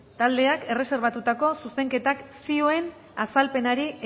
taldeak erreserbatutako zuzenketak zioen azalpenari